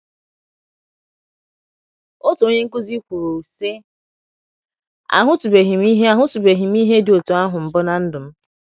Otu onye nkụzi kwuru, sị: “ Ahụtụbeghị m ihe Ahụtụbeghị m ihe dị otú ahụ mbụ ná ndụ m.